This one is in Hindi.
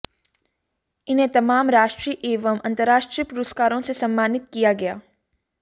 इन्हें तमाम राष्ट्रीय एवं अंतर्राष्ट्रीय पुरस्कारों से सम्मानित किया गया